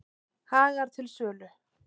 Hagar til sölu